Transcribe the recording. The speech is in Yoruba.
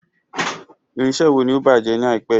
Irinṣẹ́ wo ni ó bàjẹ́ ni àìpé yìí?